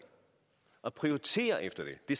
og prioriteres efter det det